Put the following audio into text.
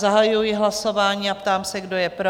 Zahajuji hlasování a ptám se, kdo je pro?